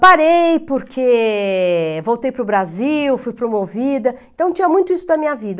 parei porque voltei para o Brasil, fui promovida, então tinha muito isso na minha vida.